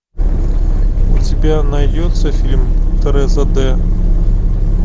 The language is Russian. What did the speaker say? у тебя найдется фильм тереза д